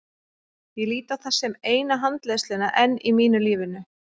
Ég lít á það sem eina handleiðsluna enn í mínu lífi.